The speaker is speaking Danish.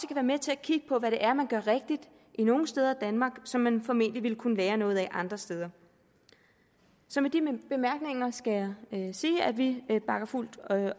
med til at kigge på hvad det er man gør rigtigt nogle steder i danmark som man formentlig ville kunne lære noget af andre steder så med de bemærkninger skal jeg sige at vi bakker fuldt